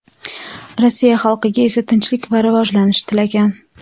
Rossiya xalqiga esa tinchlik va rivojlanish tilagan.